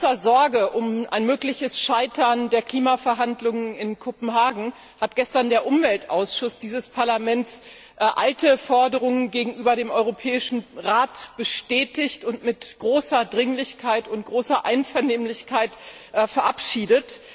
In großer Sorge um ein mögliches Scheitern der Klimaverhandlungen in Kopenhagen hat der Umweltausschuss dieses Parlaments gestern alte Forderungen gegenüber dem Europäischen Rat bestätigt und mit großer Dringlichkeit und in gutem Einvernehmen verabschiedet.